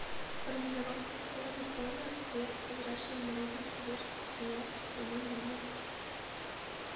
формулировка какого закона свет в прозрачной однородной среде распространяется по прямым линиям